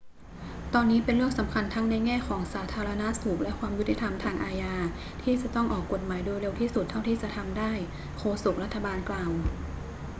ตอนนี้เป็นเรื่องสำคัญทั้งในแง่ของสาธารณสุขและความยุติธรรมทางอาญาที่จะต้องออกกฎหมายโดยเร็วที่สุดเท่าที่จะทำได้ โฆษกรัฐบาลกล่าว